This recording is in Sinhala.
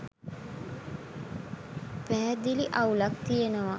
පැහැදිලි අවුලක් තියෙනවා